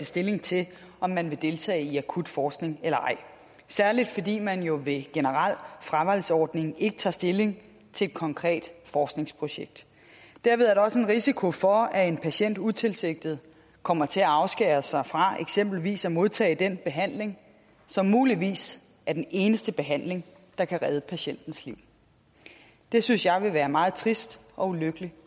stilling til om man vil deltage i akut forskning eller ej særligt fordi man jo ved en generel fravalgsordning ikke tager stilling til et konkret forskningsprojekt derved er der også en risiko for at en patient utilsigtet kommer til at afskære sig fra eksempelvis at modtage den behandling som muligvis er den eneste behandling der kan redde patientens liv det synes jeg vil være meget trist og ulykkeligt